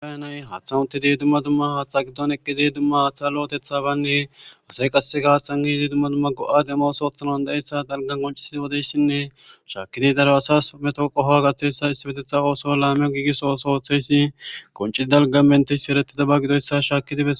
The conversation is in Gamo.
bayanay haaththa utti di dumma dumma haaththa giddon eqqide dumma haaththa lo7otetha banne asay qasseka haththanniidi dumma dumma go7a demosoothanan da7eyssa dalgan koncisizi wodeyssinne shaakidi daro asas meto qoho gaththeyssa issimetetha ooso laameyo giigisoosooththeyssi qoncidi dalga menteysi eretida ba gidoyssa shaaki dibe